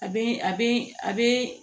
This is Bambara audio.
A be a be a bee